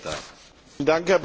Herr Präsident!